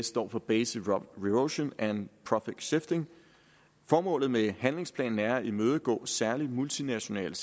står for base erosion and profit shifting formålet med handlingsplanen er at imødegå særlig multinationale